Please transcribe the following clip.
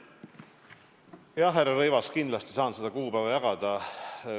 Jah, härra Rõivas, kindlasti ma saan seda kuupäeva jagada.